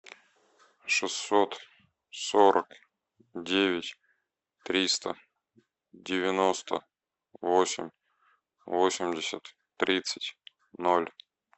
шестьсот сорок девять триста девяносто восемь восемьдесят тридцать ноль